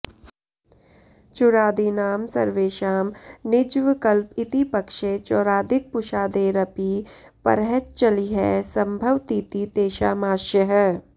चुरादीनां सर्वेषां णिज्वकल्प इति पक्षे चौरादिकपुषादेरपि परः च्लिः संभवतीति तेषामाशयः